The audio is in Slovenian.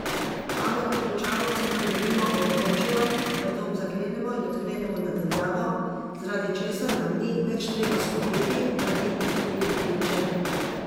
Pametne ključavnice nam denimo omogočijo, da dom zaklenemo in odklenemo na daljavo, zaradi česar nam ni več treba skrbeti, da bi izgubili ključe.